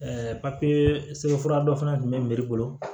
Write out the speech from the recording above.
sɛbɛn fura dɔ fana tun bɛ bolo